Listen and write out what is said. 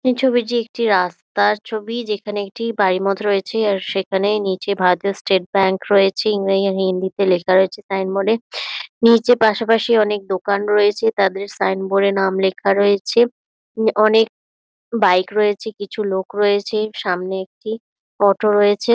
এই ছবিটি একটি রাস্তার ছবি যেখানে একটি বাড়ির মতো রয়েছে আর সেখানে নিচে ভারতীয় স্টেট ব্যাঙ্ক রয়েছে ইংরেজি হিন্দিতে লেখা রয়েছে তার সাইন বোর্ড -এ নিচে পাশাপাশি অনেক দোকান রয়েছে তাদের সাইনবোর্ড - এ নাম লেখা রয়েছে উম অনেক বাইক রয়েছে কিছু লোক রয়েছে সামনে একটি অটো রয়েছে।